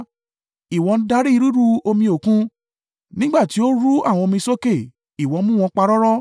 Ìwọ ń darí ríru omi Òkun; nígbà tí ó ru àwọn omi sókè, ìwọ mú wọn parọ́rọ́.